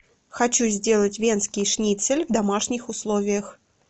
хочу сделать венский шницель в домашних условиях